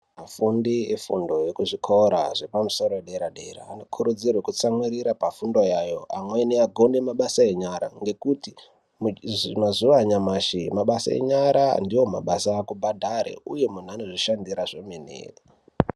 Afundi efundo ekuzvikora zvepamusoro-yederadera anokurudzirwe kutsamwirire pafundo yayo amweni agone mabasa enyara ngekuti mazuwa anyamashi mabasa enyara ndiwo mabasa akubhadhare uye munhu unozvishandira kwemene.